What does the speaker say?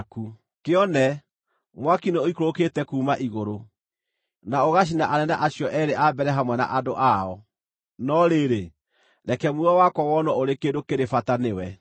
Kĩone, mwaki nĩũikũrũkĩte kuuma igũrũ, na ũgacina anene acio eerĩ a mbere hamwe na andũ ao. No rĩrĩ, reke muoyo wakwa wonwo ũrĩ kĩndũ kĩrĩ bata nĩwe!”